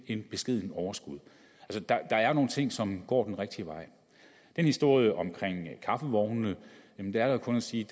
et beskedent overskud der er nogle ting som går den rigtige vej i historie om kaffevognene er der kun at sige